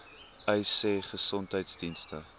uys sê gesondheidsdienste